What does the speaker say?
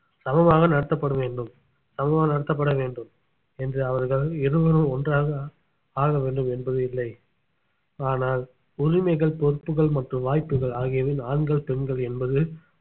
சமமாக நடத்தப்பட வேண்டும் சமமாக நடத்தப்பட வேண்டும் என்று அவர்கள் இருவரும் ஒன்றாக ஆகவேண்டும் என்பது இல்லை ஆனால் உரிமைகள் பொறுப்புகள் மற்றும் வாய்ப்புகள் ஆகியவை ஆண்கள் பெண்கள் என்பது